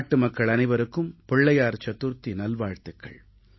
நாட்டுமக்கள் அனைவருக்கும் விநாயகர் சதுர்த்தி நல்வாழ்த்துகள்